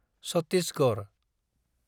Chhattisgarh